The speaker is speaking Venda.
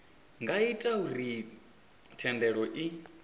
nga ita uri thendelo i